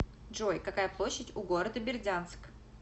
джой какая площадь у города бердянск